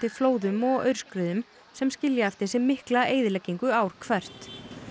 flóðum og aurskriðum sem skilja eftir sig mikla eyðileggingu ár hvert